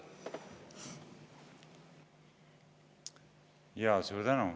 Suur tänu!